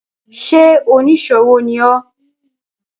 Ṣé oníṣòwò ní ọ́?